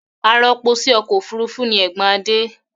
Arọpo sí ọkọ̀ òfurufú ni ẹ̀gbọ́n Adé.